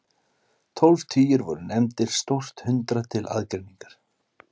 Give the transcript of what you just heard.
tólf tugir voru nefndir „stórt hundrað“ til aðgreiningar